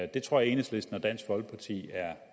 det tror jeg enhedslisten og dansk folkeparti